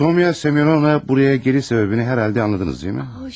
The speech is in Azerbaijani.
Sonya Semyonovna buraya gəliş səbəbini hərhalda anladınız, deyilmi?